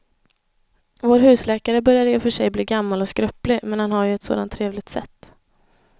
Vår husläkare börjar i och för sig bli gammal och skröplig, men han har ju ett sådant trevligt sätt!